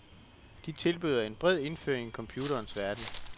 De tilbyder en bred indføring i computerens verden.